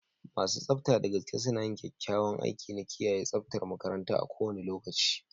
Masu tsafta da gaske suna yin kyakkyawan aiki na kiyaye tsaftar makaranta a kowane lokaci.